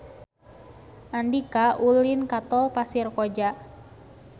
Andika ulin ka Tol Pasir Koja